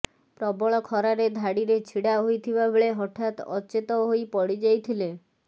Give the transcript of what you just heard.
ପ୍ରବଳ ଖରାରେ ଧାଡ଼ିରେ ଛିଡ଼ା ହୋଇଥିବାବେଳେ ହଠାତ୍ ଅଚେତ ହୋଇ ପଡ଼ିଯାଇଥିଲେ